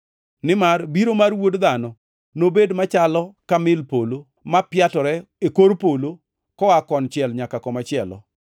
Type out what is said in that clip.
Nimar biro mar Wuod Dhano nobed machalo ka mil polo ma piatore e kor polo koa konchiel nyaka komachielo.